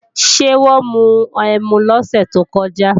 Ṣé wọ́n mu ẹmu lọ́sẹ̀ tó kọjá?